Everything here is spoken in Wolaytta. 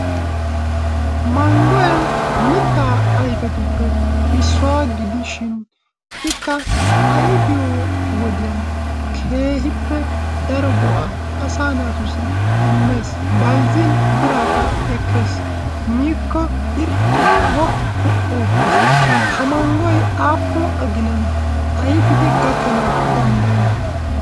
Manggoy mittaa ayfetuppe issuwa gidishin ikka ayfiyo wodiyan keehippe daro go'aa asaa naatussi immees. Bayzzin biraakka ekkees. Miikko irxxi, woppu oottees. Ha manggoy aappun aginan ayfidi gakkanawu danddayi?